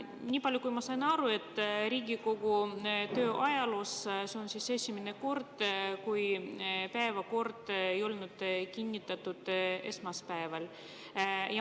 Niipalju kui ma aru sain, Riigikogu ajaloos on see esimene kord, kui päevakorda esmaspäeval ei kinnitatud.